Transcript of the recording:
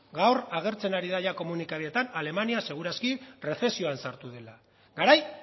gaur agertzen ari da komunikabideetan alemania seguraski errezesioan sartu dela garai